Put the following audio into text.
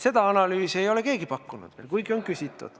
Seda analüüsi ei ole keegi veel pakkunud, kuigi on küsitud.